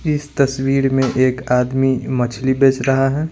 इस तस्वीर में एक आदमी मछली बेच रहा है।